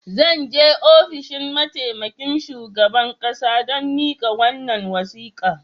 Zan je ofishin mataimakin shugaban kasa don mika wannan wasika.